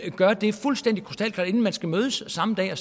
gøre det fuldstændig krystalklart inden man skal mødes samme dag at